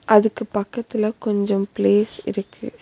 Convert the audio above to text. அதுக்கு பக்கத்துல கொஞ்சம் ப்ளேஸ் இருக்கு.